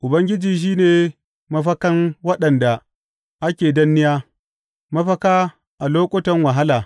Ubangiji shi ne mafakan waɗanda ake danniya, mafaka a lokutan wahala.